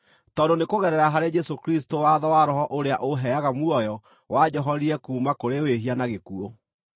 tondũ nĩ kũgerera harĩ Jesũ Kristũ watho wa Roho ũrĩa ũheaga muoyo wanjohorire kuuma kũrĩ wĩhia na gĩkuũ.